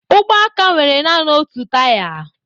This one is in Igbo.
Ụgbọaka nwere nanị otu taya.